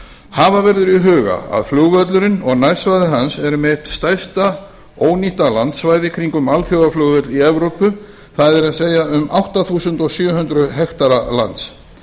hafa verður í huga að flugvöllurinn og nærsvæði hans eru með eitt stærsta ónýtta landsvæði í kringum alþjóðaflugvöll í evrópu það er um átta þúsund sjö hundruð hektara lands